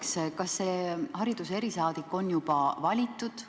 Ja teiseks, kas see hariduse erisaadik on juba valitud?